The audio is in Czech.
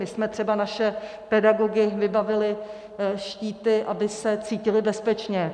My jsme třeba naše pedagogy vybavili štíty, aby se cítili bezpečně.